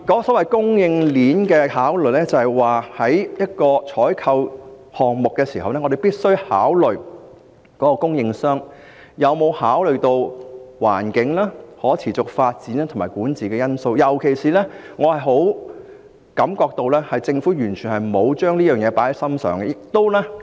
所謂供應鏈的考慮，意思是在一個採購項目中，我們必須考慮供應商有否考慮到環境、可持續發展及管治的因素，而我強烈感覺到政府完全沒有重視這方面的考慮。